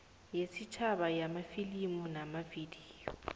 yesitjhaba yamafilimu namavidiyo